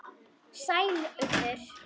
Sæl, Urður.